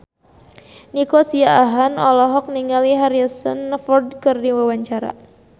Nico Siahaan olohok ningali Harrison Ford keur diwawancara